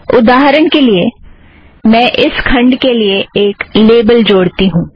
उदाहरण के लिए मैं इस खंड के लिए एक लेबल जोड़ती हूँ